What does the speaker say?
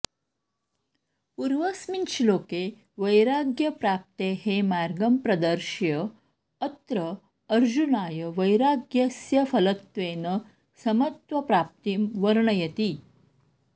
पूर्वस्मिन् श्लोके वैराग्यप्राप्तेः मार्गं प्रदर्श्य अत्र अर्जुनाय वैराग्यस्य फलत्वेन समत्वप्राप्तिं वर्णयति